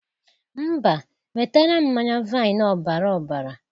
Mba, nwetara m mmanye vain ọbara ọbara.